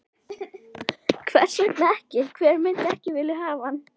Hvers vegna ekki, hver myndi ekki vilja hafa hann?